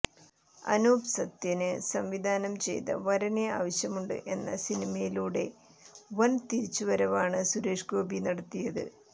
അനൂപ് സത്യന് സംവിധാനം ചെയ്ത വരനെ ആവശ്യമുണ്ട് എന്ന സിനിമയിലൂടെ വന് തിരിച്ച് വരവാണ് സുരേഷ്ഗോപി നടത്തിയത്